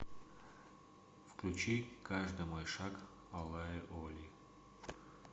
включи каждый мой шаг алаи оли